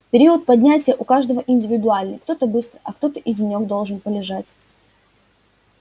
период поднятия у каждого индивидуальный кто-то быстро а кто-то и денёк должен полежать